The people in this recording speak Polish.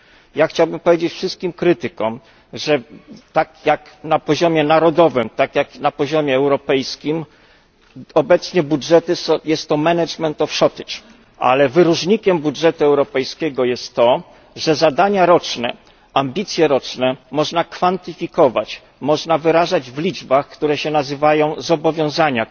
Ja chciałbym powiedzieć wszystkim krytykom, że tak na poziomie narodowym, jak na poziomie europejskim obecnie budżety to zarządzanie niedoborem, ale wyróżnikiem budżetu europejskiego jest to, że zadania roczne, ambicje roczne można kwantyfikować, można wyrażać w liczbach, które się nazywają zobowiązania.